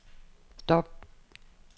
stop